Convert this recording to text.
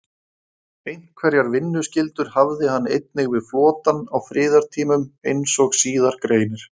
Einhverjar vinnuskyldur hafði hann einnig við flotann á friðartímum, eins og síðar greinir.